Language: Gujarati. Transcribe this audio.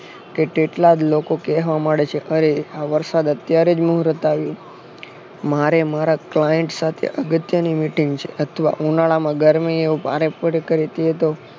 કે તેટલા જ લોકો કેહવા મને છે અરે આ વરસાદ અત્યારે જ મુરત આવ્યું મારે મારા client સાથે અગત્યની meeting છે અથવા ઉનાળામાં ગરમીઓ ભારે પડતી હોય તો